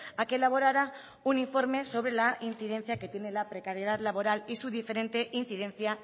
a que elaborara un informe sobre la incidencia que tiene la precariedad laboral y su diferente incidencia